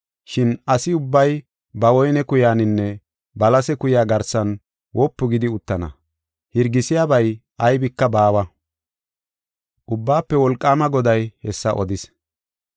Shin asi ubbay ba woyne kuyaninne balase kuya garsan wopu gidi uttana; hirgisiyabay aybika baawa. Ubbaafe Wolqaama Goday hessa odis.